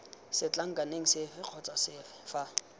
setlankaneng sefe kgotsa sefe fa